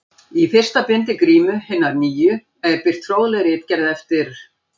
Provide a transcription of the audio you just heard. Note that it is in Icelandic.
Í fyrsta bindi Grímu hinnar nýju er birt fróðleg ritgerð eftir